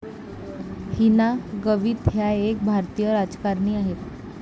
हिना गवित ह्या एक भारतीय राजकारणी आहेत.